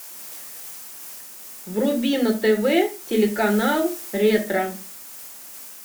вруби на тв телеканал ретро